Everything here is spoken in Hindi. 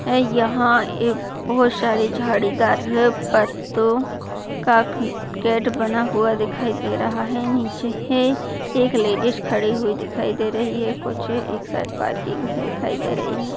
यहाँ एक बहुत सारी झाड़ीदार पत्तों का गेट बना हुआ दिखाई दे रहा है नीचे ए एक लेडिज खड़ी हुई दिखाई दे रही है कुछ एक साइड पार्किंग दिखाई दे रही है।